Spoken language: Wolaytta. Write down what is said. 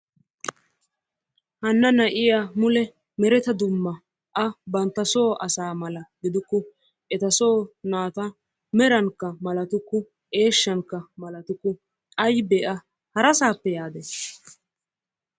Hana na'iya mule mereta dumma a banttasoo asa mala gidukku, eta so naatta merankka malatukku, eeshshankka malatukke. Aybbe a harassappe yaade?